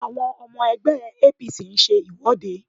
Àwọn ọmọ ẹgbẹ́ APC ń ṣe ìwọ́de